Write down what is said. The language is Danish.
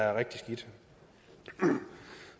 er rigtig skidt